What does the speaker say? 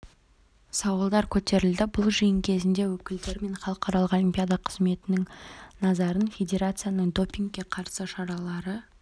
сауалдар көтерілді бұл жиын кезінде өкілдері мен халықаралық олимпиада комитетінің назарын федерацияның допингке қарсы шаралары